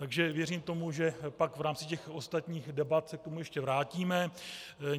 Takže věřím tomu, že pak v rámci těch ostatních debat se k tomu ještě vrátíme.